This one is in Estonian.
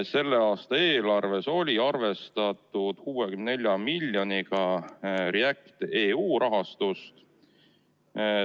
Selle aasta eelarves oli arvestatud 64 miljoni euroga REACT-EU rahastust.